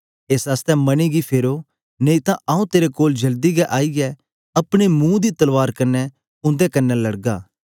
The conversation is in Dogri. एस आसतै मने गी फेरो नेई तां आऊँ तेरे कोल जल्दी गै आईयै अपने मुंह दी तलवार कन्ने उंदे कन्ने लड़गा